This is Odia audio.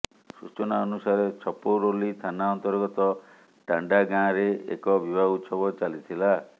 ସୂଚନା ଅନୁସାରେ ଛପରୌଲୀ ଥାନା ଅନ୍ତର୍ଗତ ଟାଣ୍ଡା ଗାଁରେ ଏକ ବିବାହ ଉତ୍ସବ ଚାଲିଥିଲା